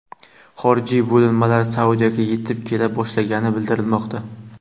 Xorijiy bo‘linmalar Saudiyaga yetib kela boshlagani bildirilmoqda.